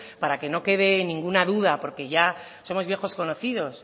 para que no quede ninguna duda porque ya somos viejos conocidos